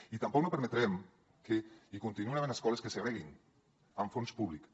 i tampoc no permetrem que hi continuïn havent escoles que segreguin amb fons públics